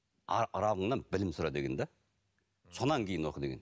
раббыңнан білім сұра деген де содан кейін оқы деген